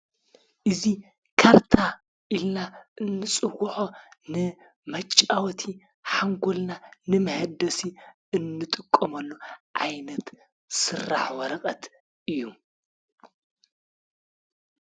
እዚ ካርታ ኢልና እንፅዎዖ ንመጫወቲ ሓንጎልና ንምህደሲ እንንጥቀመሉ ዓይነት ስራሕ ወረቐት እዩ::